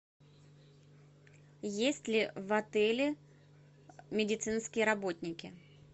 есть ли в отеле медицинские работники